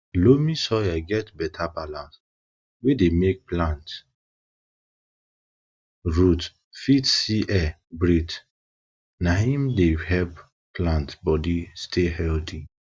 loamy soil get beta balance wey deymake plant wey deymake plant root fit see air breathe na im dey help plant body stay healthy